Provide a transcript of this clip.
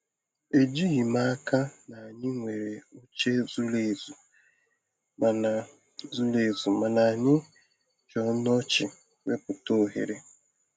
Ejighị m n'aka na anyị nwere oche zuru ezu, mana zuru ezu, mana anyị ji ọnụ ọchị wepụta ohere.